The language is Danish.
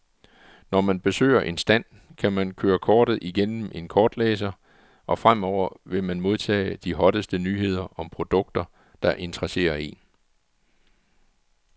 Når man besøger en stand, kan man køre kortet igennem en kortlæser, og fremover vil man modtage de hotteste nyheder om produkter, der interesserer en.